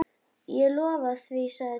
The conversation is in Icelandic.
Ég lofa því sagði Thomas.